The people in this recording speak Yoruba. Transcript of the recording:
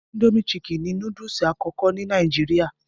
Indomie Chicken ni núdúsì àkọ́kọ́ ni Nàìjíríà